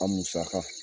An musaka